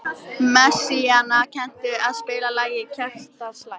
Áhaldið tengist fiskveiðum og einu helsta veiðarfæri Íslendinga í gegnum aldirnar, lóð.